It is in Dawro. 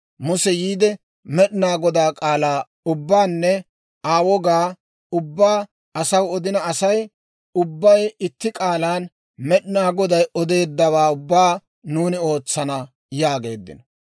Muse yiide, Med'inaa Godaa k'aalaa ubbaanne Aa wogaa ubbaa asaw odina Asay ubbay itti k'aalaan, «Med'inaa Goday odeeddawaa ubbaa nuuni ootsana» yaageeddino.